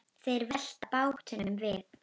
Þeir velta bátnum við.